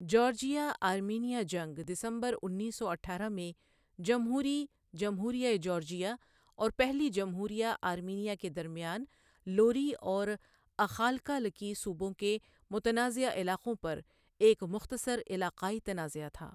Georgia Armenia جنگ دسمبر انیس سو اٹھارہ میں جمہوری جمہوریہ جارجیا اور پہلی جمہوریہ آرمینیا کے درمیان لوری اور اخالکالکی صوبوں کے متنازعہ علاقوں پر ایک مختصر علاقائی تنازعہ تھا